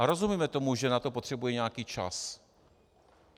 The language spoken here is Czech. A rozumíme tomu, že na to potřebuje nějaký čas.